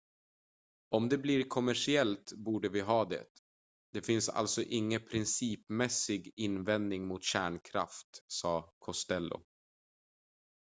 """om det blir kommersiellt borde vi ha det. det finns alltså ingen principmässig invändning mot kärnkraft," sa costello.